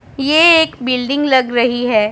ये एक बिल्डिंग लग रही है।